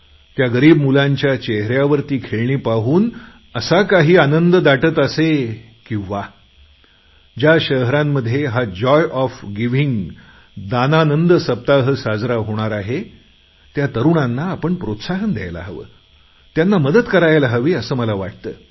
त्या गरीब मुलांच्या चेहेऱ्यावर ती खेळणी पाहून असा काही आनंद उमटत असे की वा ज्या शहरांमध्ये हा जॉय ऑफ गिव्हिंग विक साजरा होणार आहे त्या तरुणांना आपण प्रोत्साहन द्यायला हवे त्यांना मदत करायला हवी असे मला वाटते